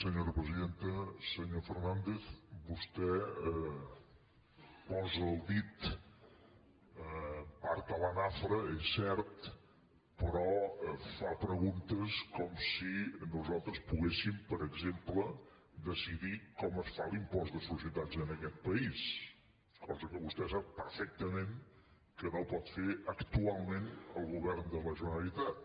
senyor fernàndez vostè posa el dit en part a la nafra és cert però fa preguntes com si nosaltres poguéssim per exemple decidir com es fa l’impost de societats en aquest país cosa que vostè sap perfectament que no pot fer actualment el govern de la generalitat